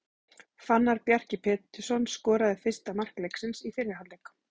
Fannar Bjarki Pétursson skoraði fyrsta mark leiksins í fyrri hálfleik.